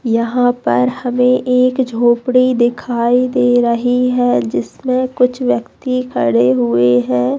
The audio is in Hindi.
यहाँ पर हमे एक झोपड़ी दिखाई दे रही है जिसमे कुछ व्यक्ति खड़े हुए है।